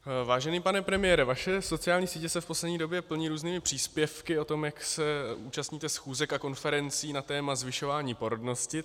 Vážený pane premiére, vaše sociální sítě se v poslední době plní různými příspěvky o tom, jak se účastníte schůzek a konferencí na téma zvyšování porodnosti.